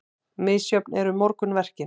Misjöfn eru morgunverkin.